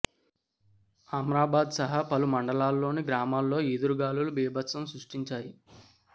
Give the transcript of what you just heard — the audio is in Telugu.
అమ్రాబాద్ సహా పలు మండలాల్లోని గ్రామాల్లో ఈదురుగాలు బీభత్సం సృష్టించాయి